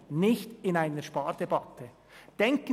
Das geht nicht, wenn wir eine Spardebatte führen.